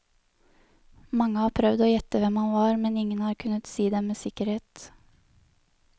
Mange har prøvd å gjette hvem han var, men ingen har kunnet si det med sikkerhet.